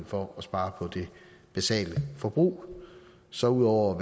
for at spare på det basale forbrug så ud over